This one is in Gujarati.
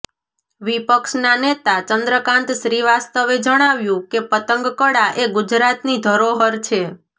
વિપક્ષના નેતા ચંદ્રકાંત શ્રીવાસ્તવે જણાવ્યું કે પતંગ કળા એ ગુજરાતની ધરોહર છે